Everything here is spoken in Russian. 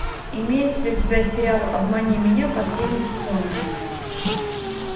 имеется ли у тебя сериал обмани меня последний сезон